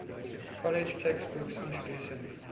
college textbooks introducing